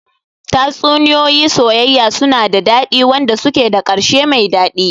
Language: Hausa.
Tatsuniya soyayya suna da dadi, wanda suke da karshe mai dadi.